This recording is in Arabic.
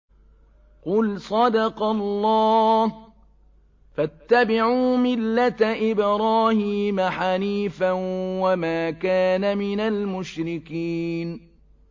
قُلْ صَدَقَ اللَّهُ ۗ فَاتَّبِعُوا مِلَّةَ إِبْرَاهِيمَ حَنِيفًا وَمَا كَانَ مِنَ الْمُشْرِكِينَ